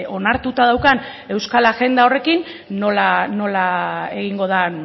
onartuta daukan euskal agenda horrekin nola egingo den